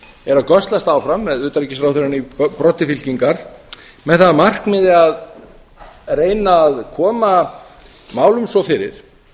er að göslast áfram með utanríkisráðherrann í broddi fylkingar með það að markmiði að reyna að koma málum svo fyrir